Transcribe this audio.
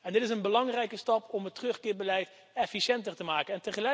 Dit is een belangrijke stap om het terugkeerbeleid efficiënter te maken.